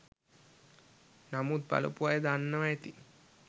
නමුත් බලපු අය දන්නව ඇති